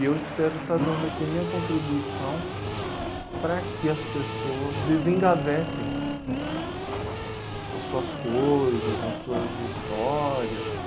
E eu espero estar dando aqui a minha contribuição para que as pessoas desengavetem as suas coisas, as suas histórias.